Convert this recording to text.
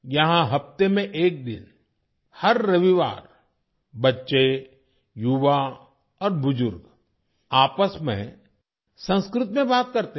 यहाँ हफ्ते में एक दिन हर रविवार बच्चे युवा और बुजुर्ग आपस में संस्कृत में बात करते हैं